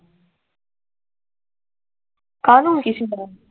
ਕਹਣ